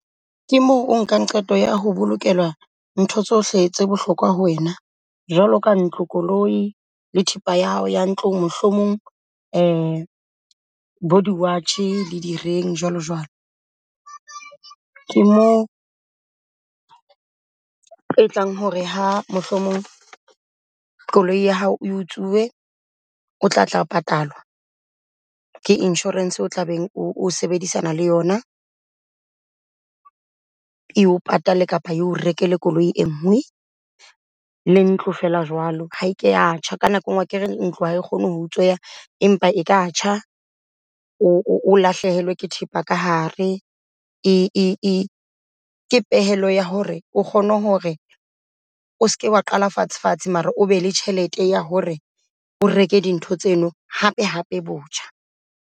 Ke moo o nkang qeto ya ho bolokelwa ntho tsohle tse bohlokwa ho wena jwalo ka ntlo, koloi le thepa ya hao ya ntlo mohlomong bo di-watch le di-ring jwalo jwalo. Ke mo e tlang hore ha mohlomong koloi ya hao utsuwe o tla tla patalwa ke insurance o tla beng o sebedisana le yona. Eo patale kapa eo rekele koloi e nngwe le ntlo feela jwalo. Ha ke ya tjha, ka nako enngwe akere ntlo ha kgone ho utsweya empa e ka tjha o lahlehelwe ke thepa ka hare. ke pehelo ya hore o kgone hore o seke wa qala fatshe fatshe. Mara o be le tjhelete ya hore o reke dintho tseno hape hape botjha.